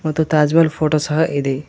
ಮತ್ತು ತಾಜ್ಮಹಲ್ ಫೋಟೋ ಸಹ ಇದೆ.